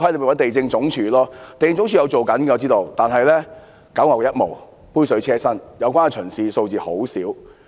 我知道地政總署也有做工夫，但只是九牛一毛、杯水車薪，有關巡視的數字甚少。